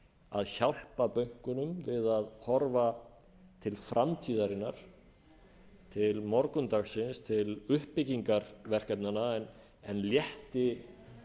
að hjálpa bönkunum við að horfa til framtíðarinnar til morgundagsins til uppbyggingar verkefnanna en létti